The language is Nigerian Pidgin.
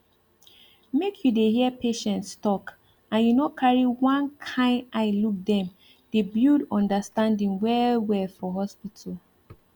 make you dey hear patients talk and you no carry one kind eye look dem dey build understanding well well for hospital